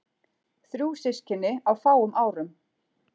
Þrjú systkini á fáum árum.